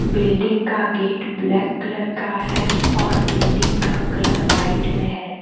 Building का gate black colour का है और बिल्डिंग का कलर व्हाइट में है।